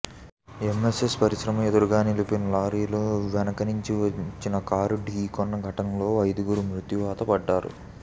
MSN పరిశ్రమ ఎదురుగా నిలిపిన లారీని వెనక నుంచి వచ్చిన కారు ఢీకొన్న ఘటనలో ఐదుగురు మృత్యువాత పడ్డారు